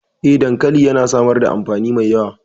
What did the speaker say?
Eh, dankali yana samar da amfani mai yawa.